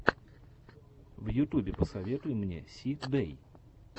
в ютубе посоветуй мне си дэй